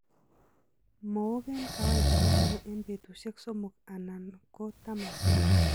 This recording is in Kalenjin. Mook en kawaida kosope en petusiek somo alan ko 10.